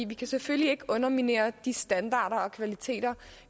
vi kan selvfølgelig ikke underminere de standarder og kvaliteter